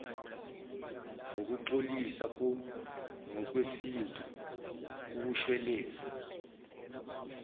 ngokuxolisa ngokwesintu ukushweleza